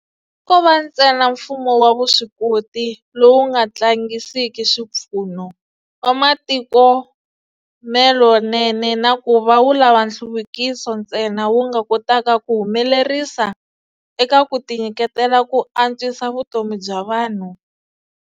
Ko va ntsena mfumo wa vuswikoti, lowu nga tlangisiki swipfuno, wa matikhomelonene na ku va wu lava nhluvukiso ntsena wu nga kotaka ku humelerisa eka ku tinyiketela ku antswisa vutomi bya vanhu.